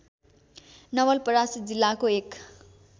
नवलपरासी जिल्लाको एक